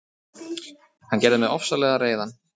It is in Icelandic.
Hann gerði mig ofsalega reiðan.